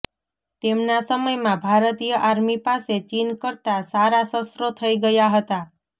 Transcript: તેમના સમયમાં ભારતીય આર્મી પાસે ચીન કરતાં સારા શસ્ત્રો થઈ ગયાં હતાં